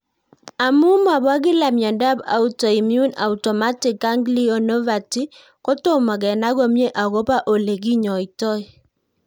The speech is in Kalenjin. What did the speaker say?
Amu mopo kila miondop autoimmune autonomic ganglionopathy ko tomo kenai komie akopo ole kinyoitoi